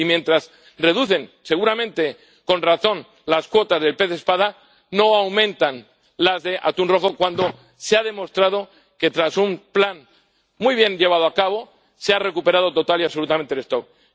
Y, mientras reducen, seguramente con razón, las cuotas del pez espada, no aumentan las de atún rojo, cuando se ha demostrado que tras un plan muy bien llevado a cabo se ha recuperado total y absolutamente la población.